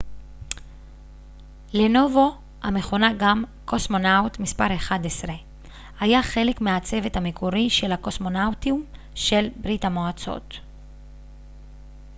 לנובו המכונה גם קוסמונאוט מס 11 היה חלק מהצוות המקורי של הקוסמונאוטים של ברית המועצות